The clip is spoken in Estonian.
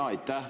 Aitäh!